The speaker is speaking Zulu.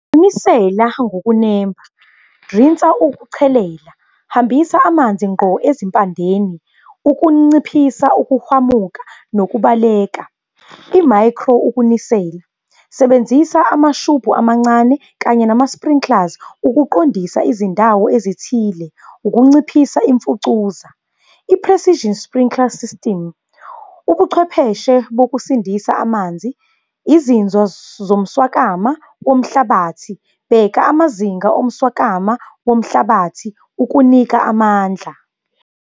Nisela ngokunemba, rinsa ukuchelela, hambisa amanzi ngqo ezimpandeni ukunciphisa ukuhwamuka nokubaleka. I-micro ukunisela, sebenzisa amashubhu amancane kanye nama-sprinkles, ukuqondisa izindawo ezithile, ukunciphisa imfucuza. I-precision sprinkler system, ubuchwepheshe bokusindisa amanzi. Izinzo zomswakama womhlabathi. Bheka amazinga omsokama womhlabathi ukunika amandla.